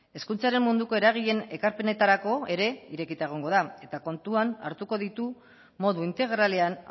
hezkuntzaren munduko eragileen ekarpenetarako ere irekita egongo da eta kontuan hartuko ditu modu integralean